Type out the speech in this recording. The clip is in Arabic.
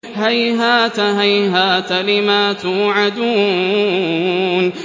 ۞ هَيْهَاتَ هَيْهَاتَ لِمَا تُوعَدُونَ